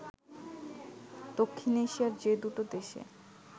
দক্ষিণ এশিয়ায় যে দুটো দেশে